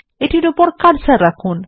এটির উপর কার্সার রাখুন